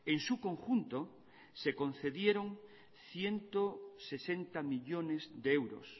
en su conjunto se concedieron ciento sesenta millónes de euros